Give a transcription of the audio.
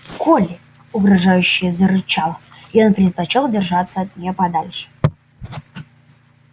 колли угрожающе зарычала и он предпочёл держаться от нее подальше